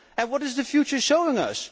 What is the future showing us?